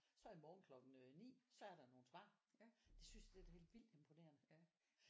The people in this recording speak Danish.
så i morgen klokken øh 9 så er der nogen svar det synes det er da helt vildt imponerende